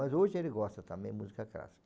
Mas hoje ele gosta também de música clássica.